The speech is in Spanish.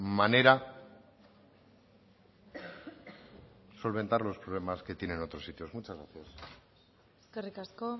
manera solventar los problemas que tiene en otros sitios muchas gracias eskerrik asko